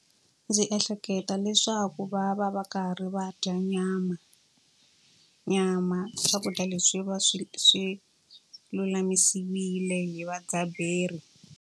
Ndzi ehleketa leswaku va va va karhi va dya nyama. Nyama swakudya leswi va swi swi lulamisiwile hi vadzaberi.